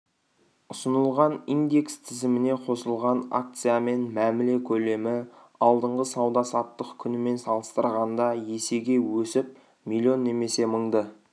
ұсынылған индекс тізіміне қосылған акциямен мәміле көлемі алдыңғы сауда-саттық күнімен салыстырғанда есеге өсіп млн немесе мыңды